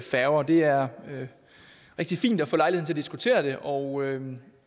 færger det er rigtig fint at få lejlighed til at diskutere det og